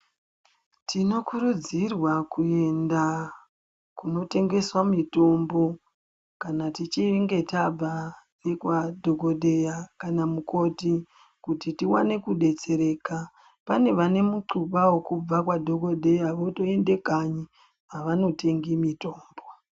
Tinokurudzirwa kuenda kunotengeswa mitombo kana tichinge tabva ngekwa dhokodheya kana mukoti kuti tiwane kudetsereka. Pane vane muquba wekubva kwa dhokodheya votoenda kanyi avanotengi mitombo.